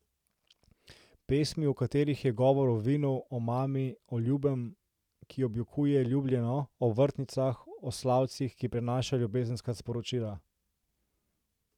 Pesmi, v katerih je govor o vinu, omami, o Ljubem, ki objokuje Ljubljeno, o vrtnicah, o slavcih, ki prenašajo ljubezenska sporočila.